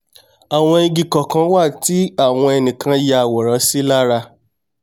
àwọn igi kọ̀ọ̀kan wà tí àwọn ẹnìkan ya àworán sí lára